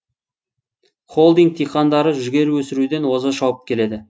холдинг диқандары жүгері өсіруде оза шауып келеді